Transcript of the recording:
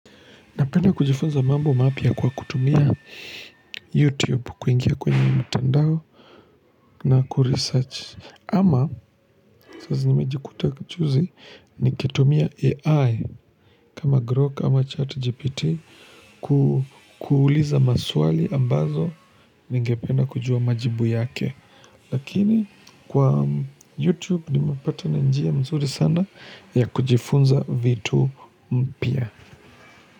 Napenda kujifunza mambo mapya kwa kutumia YouTube kuingia kwenye mtandao na kuresearch. Ama sasa nimejikuta juzi nikitumia AI kama Groke ama ChatGPT kuuuliza maswali ambazo ningependa kujua majibu yake. Lakini kwa YouTube nimepatana na njia mzuri sana ya kujifunza vitu mpya.